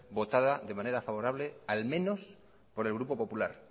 votada de manera favorable al menos por el grupo popular